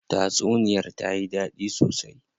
Tatsuniyar tayi dadi sosai.